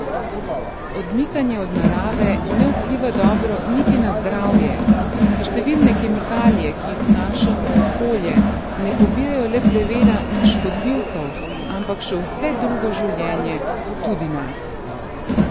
Odmikanje od narave ne vpliva dobro niti na zdravje, številne kemikalije, ki jih vnašamo v okolje, ne pobijajo le plevela in škodljivcev, ampak še vse drugo življenje, tudi nas.